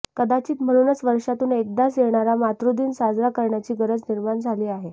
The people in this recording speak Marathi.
कदाचित म्हणूनच वर्षातून एकदाच येणारा मातृदिन साजरा करण्याची गरज निर्माण झाली आहे